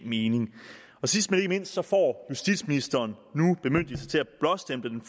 mening sidst men ikke mindst får justitsministeren nu bemyndigelse til at blåstemple den